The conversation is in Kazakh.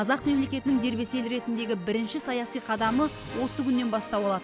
қазақ мемлекетінің дербес ел ретіндегі бірінші саяси қадамы осы күннен бастау алады